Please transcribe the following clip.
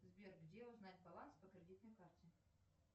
сбер где узнать баланс по кредитной карте